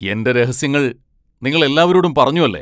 എന്റെ രഹസ്യങ്ങൾ നിങ്ങൾ എല്ലാവരോടും പറഞ്ഞു അല്ലെ?